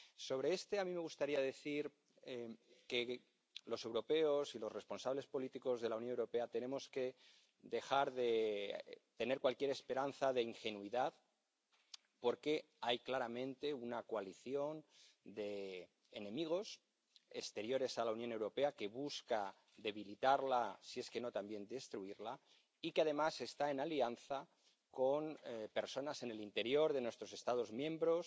Sobre este, a mí me gustaría decir que los europeos y los responsables políticos de la Unión Europea tenemos que dejar de tener cualquier esperanza de ingenuidad, porque hay claramente una coalición de enemigos, exteriores a la Unión Europea, que busca debilitarla —si es que no también destruirla— y que además está en alianza con personas en el interior de nuestros Estados miembros,